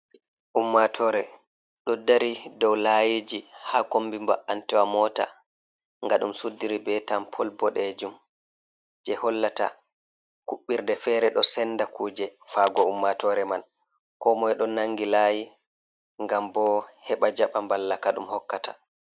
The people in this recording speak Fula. Ummatore ɗo dari dow layiji ha kombi ba an tewa mota nga ɗum suddiri be tampol boɗejum, je hollata kuɓbirde fere ɗo senda kuje, fago ummatore man komoi ɗo nangi layi ngam bo heɓa jaɓa ballaka ɗum hokkata.